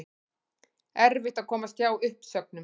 Erfitt að komast hjá uppsögnum